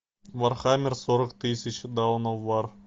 вархаммер сорок тысяч даун оф вар